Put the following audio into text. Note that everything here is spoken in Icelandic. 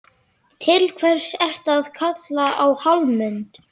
Til hvers ertu að kalla á Hallmund?